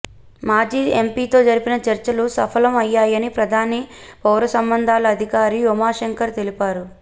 మాజీ ఎంపీతో జరిపిన చర్చలు సఫలం అయ్యాయని ప్రధాన పౌరసంబంధాల అధికారి ఉమాశంకర్ తెలిపారు